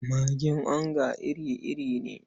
Magin onga iri-iri ne.